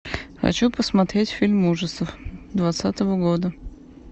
хочу посмотреть фильм ужасов двадцатого года